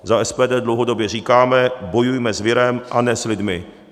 Za SPD dlouhodobě říkáme - bojujme s virem, a ne s lidmi.